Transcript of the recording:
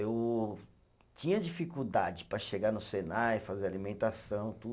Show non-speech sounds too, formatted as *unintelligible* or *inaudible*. Eu tinha dificuldade para chegar no Senai, fazer alimentação, *unintelligible*